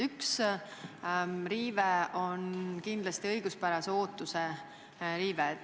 Üks riive on kindlasti õiguspärase ootuse riive.